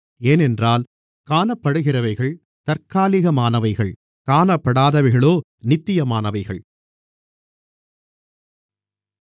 ஏனென்றால் காணப்படுகிறவைகள் தற்காலிகமானவைகள் காணப்படாதவைகளோ நித்தியமானவைகள்